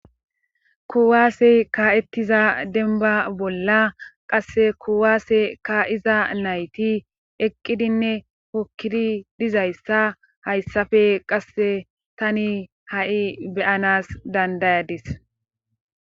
Kuwaase kaa'ettiza denba bolla qasse kuwaase ka'iza nayti eqqidinne hokkidi dizayssa hayssafe qasse tani ha'i beyanas dandayadis.